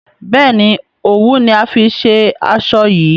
béèni òwú ni a fí ṣe aṣọ yí.